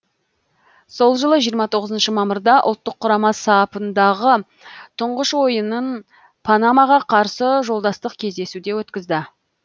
сол жылы жиырма тоғызыншы мамырда ұлттық құрама сапындағы тұңғыш ойынын панамаға қарсы жолдастық кездесуде өткізді